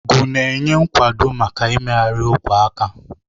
Ngu na-enye nkwado maka mmegharị ogwe aka.